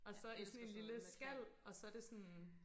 Og så i sådan en lille skal og så det sådan